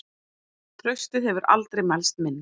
Traustið hefur aldrei mælst minna.